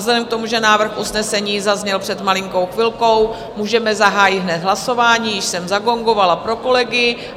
Vzhledem k tomu, že návrh usnesení zazněl před malinkou chvilkou, můžeme zahájit hned hlasování, již jsem zagongovala pro kolegy.